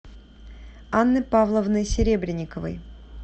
анны павловны серебренниковой